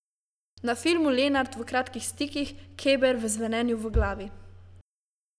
Na filmu Lenart v Kratkih stikih, Keber v Zvenenju v glavi ...